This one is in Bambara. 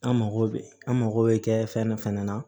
An mako bɛ an mago bɛ kɛ fɛn dɔ fana na